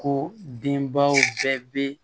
Ko denbaw bɛɛ bɛ